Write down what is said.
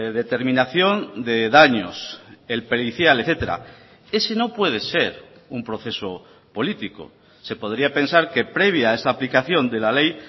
determinación de daños el pericial etcétera ese no puede ser un proceso político se podría pensar que previa a esa aplicación de la ley